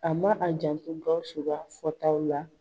A ma a janto GAWUSU ka fɔtaw la.